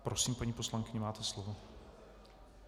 Prosím, paní poslankyně, máte slovo.